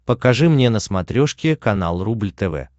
покажи мне на смотрешке канал рубль тв